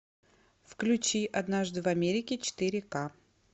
включи однажды в америке четыре ка